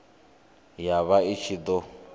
ya vha i ṱshi ḓo